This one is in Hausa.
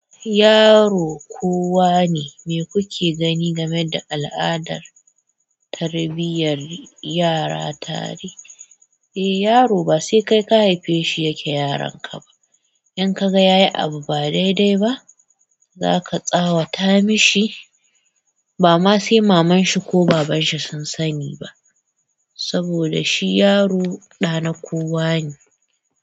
Yaro kowa ne, me kuke gani game da al'adar tarbiyar yara tare? Eh, yaro ba sai kai ka haife shi yake yaronka ba. In ka ga ya yi abu ba daidai ba, za ka tsawata mashi ba ma sai maman shi ko baban shi sun sani ba, saboda shi yaro ɗa na kowa ne.